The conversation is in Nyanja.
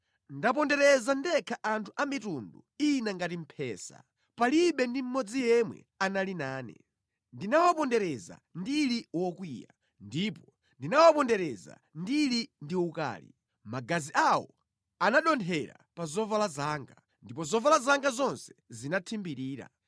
“Ndapondereza ndekha anthu a mitundu ina ngati mphesa, palibe ndi mmodzi yemwe anali nane. Ndinawapondereza ndili wokwiya ndipo ndinawapondereza ndili ndi ukali; magazi awo anadothera pa zovala zanga, ndipo zovala zanga zonse zinathimbirira.